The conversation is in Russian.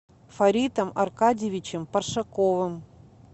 фаритом аркадьевичем паршаковым